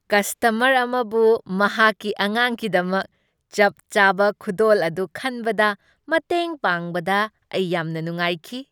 Customer ꯑꯃꯕꯨ ꯃꯍꯥꯛꯒꯤ ꯑꯉꯥꯡꯒꯤꯗꯃꯛ ꯆꯞ ꯆꯥꯕ ꯈꯨꯗꯣꯜ ꯑꯗꯨ ꯈꯟꯕꯗ ꯃꯇꯦꯡ ꯄꯥꯡꯕꯗ ꯑꯩ ꯌꯥꯝꯅ ꯅꯨꯡꯉꯥꯏꯈꯤ꯫